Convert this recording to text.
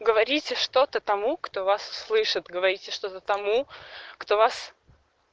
говорите что-то тому кто вас услышит говорите что-то тому кто вас